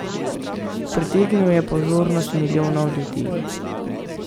Pritegnil je pozornost milijonov ljudi.